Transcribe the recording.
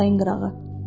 Çayın qırağı.